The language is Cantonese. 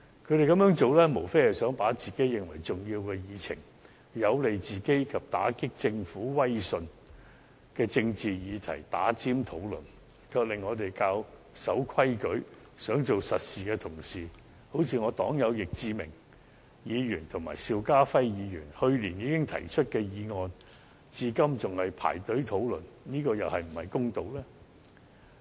他們這樣做，無非是想把自己認為重要的議程、有利自己及打擊政府威信的政治議題插隊討論，卻令我們較守規矩、想做實事的同事，例如我黨友易志明議員及邵家輝議員去年已提出的議案，至今仍在輪候等待編上議程，這樣又是否公道呢？